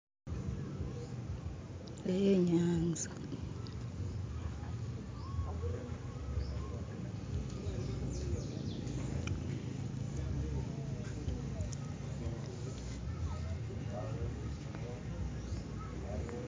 Eyo inyanza